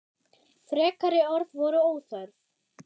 Frekari orð voru óþörf.